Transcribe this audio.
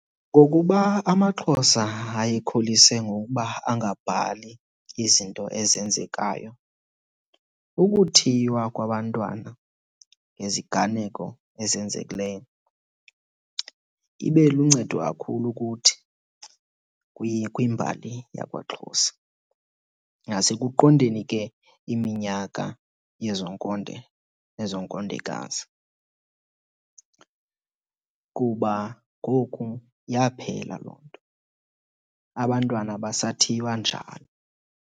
Ngokuba amaXhosa ayekholise ngokuba angabhali izinto ezenzekayo, ukuthiywa kwabantwana ngeziganeko ezenzekileyo ibe luncedo kakhulu kuthi kwimbali yakwaXhosa nasekuqondeni ke iminyaka yezo nkonde nezo nkondekazi kuba ngoku yaphela loo nto, abantwana abasathiywa njalo.